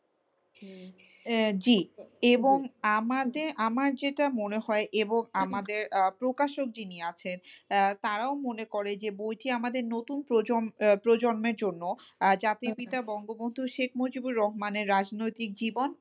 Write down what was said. উম জি এবং আমাদের আমার যেটা মনে হয় এবং আমাদের আহ প্রকাশক যিনি আছেন আহ তারাও মনে করে যে বইটি আমাদের নতুন প্রজন্ম প্রজন্মের জন্য জাতীর পিতা বঙ্গবন্ধু শেখ মজিবুর রহমানের রাজনৈতিক জীবন।